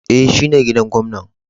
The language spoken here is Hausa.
E,shine gidan gwamnan.